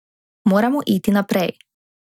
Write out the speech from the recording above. Moramo iti naprej.